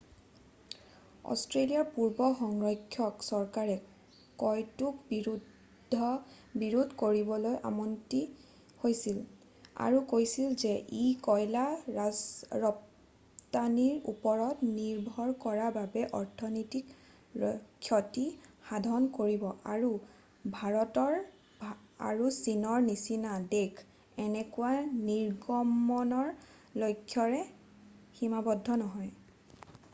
অষ্ট্ৰেলিয়াৰ পূৰ্বৰ সংৰক্ষক চৰকাৰে কয়তোক বিৰোধ কৰিবলৈ অমান্তি হৈছিল আৰু কৈছিল যে ই কয়লা ৰপ্তানীৰ ওপৰত নিৰ্ভৰ কৰা বাবে অৰ্থনীতিৰ ক্ষতি সাধন কৰিব আৰু ভাৰত আৰু চীনৰ নিচিনা দেশ এনেকুৱা নিৰ্গমণৰ লক্ষ্যৰে সীমাবদ্ধ নহয়